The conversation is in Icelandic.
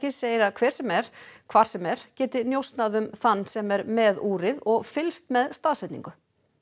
segir að hver sem er hvar sem er geti njósnað um þann sem er með úrið og fylgst með staðsetningu